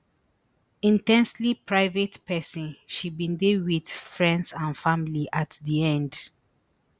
in ten sely private pesin she bin dey wit friends and family at di end